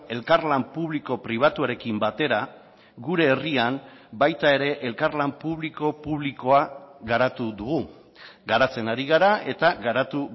elkarlan publiko pribatuarekin batera gure herrian baita ere elkarlan publiko publikoa garatu dugu garatzen ari gara eta garatu